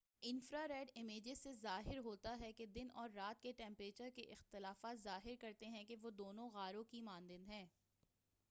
infra red images سے ظاہر ہوتا ہے کہ دن اور رات کے ٹمپریچر کے اختلافات ظاہر کرتے ہیں کہ وہ دونوں غاروں کے مانند ہیں